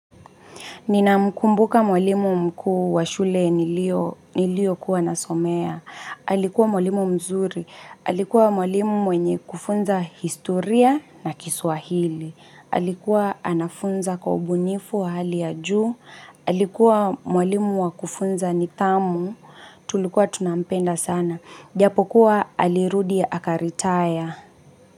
Ninamkumbuka mwalimu mkuu wa shule niliyokuwa nasomea. Alikuwa mwalimu mzuri. Alikuwa mwalimu mwenye kufunza historia na kiswahili. Alikuwa anafunza kwa ubunifu wa hali ya juu. Alikuwa mwalimu wa kufunza nidhamu. Tulikuwa tunampenda sana. Japokuwa alirudi akaritaya.